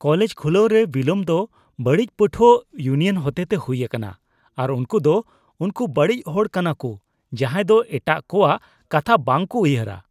College ᱠᱷᱩᱞᱟᱹᱣ ᱨᱮ ᱵᱤᱞᱚᱢ ᱫᱚ ᱵᱟᱹᱲᱤᱡ ᱯᱟᱹᱴᱷᱩᱣᱟᱹ ᱤᱭᱩᱱᱤᱭᱚᱱ ᱦᱚᱛᱮᱛᱮ ᱦᱩᱭ ᱟᱠᱟᱱᱟ ᱟᱨ ᱩᱱᱠᱩ ᱫᱚ ᱩᱱᱠᱩ ᱵᱟᱹᱲᱤᱡ ᱦᱚᱲ ᱠᱟᱱᱟᱠᱩ ᱡᱟᱦᱟᱸᱭ ᱫᱚ ᱮᱴᱟᱜ ᱠᱚᱣᱟᱜ ᱠᱟᱛᱷᱟ ᱵᱟᱝ ᱠᱚ ᱩᱭᱦᱟᱹᱨᱟ ᱾